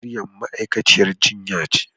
Maryam ma'aikaciyar jinya ce.